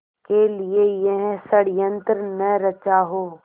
के लिए यह षड़यंत्र न रचा हो